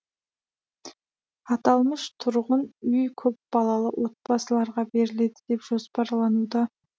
аталмыш тұрғын үй көпбалалы отбасыларға беріледі деп жоспарланды